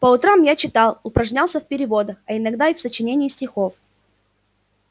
по утрам я читал упражнялся в переводах а иногда и в сочинении стихов